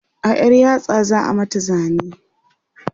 a ƴar yatsa za'a mata zane